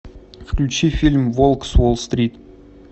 включи фильм волк с уолл стрит